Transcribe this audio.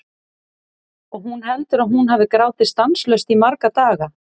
Og hún heldur að hún hafi grátið stanslaust í marga daga.